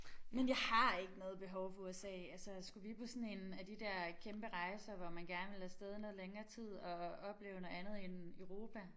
Men jeg har ikke noget behov for USA altså skulle vi på sådan en af de der kæmpe rejser hvor man gerne vil af sted noget længere tid og opleve noget andet end Europa